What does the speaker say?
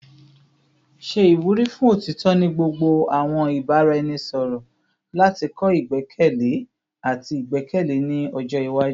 Ṣe iwuri fun otitọ ni gbogbo awọn ibaraẹnisọrọ lati kọ igbẹkẹle ati igbẹkẹle ni ọjọ iwaju